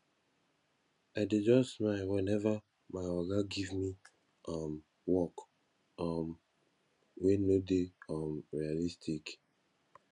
i dey just smile weneva my oga give me um work um wey no dey um realistic